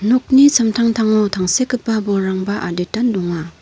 nokni samtangtango tangsekgipa bolrangba aditan donga.